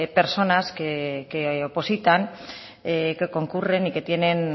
personas que opositan que concurren y que tienen